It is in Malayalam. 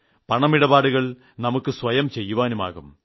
പണമിടപാടുകൾ നമുക്ക് സ്വയം ചെയ്യുവാനാകും